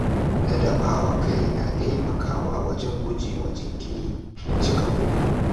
Ladaba wa kai na taimakawa wajen guje wa jinkiri da cika buri.